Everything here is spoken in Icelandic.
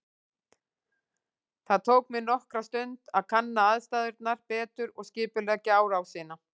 Það tók mig nokkra stund að kanna aðstæðurnar betur og skipuleggja árásina.